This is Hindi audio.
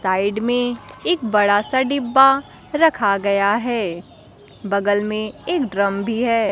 साइड में एक बड़ा सा डिब्बा रखा गया है बगल में एक ड्रम भी है।